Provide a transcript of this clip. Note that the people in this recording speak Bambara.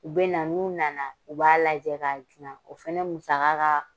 U bɛ na n'u nana , u b'a lajɛ k'a suma. O fana musaga ka